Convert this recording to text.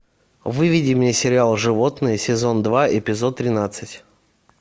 выведи мне сериал животные сезон два эпизод тринадцать